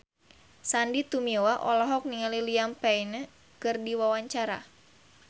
Sandy Tumiwa olohok ningali Liam Payne keur diwawancara